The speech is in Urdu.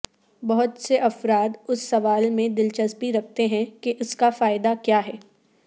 بہت سے افراد اس سوال میں دلچسپی رکھتی ہیں کہ اس کا فائدہ کیا ہے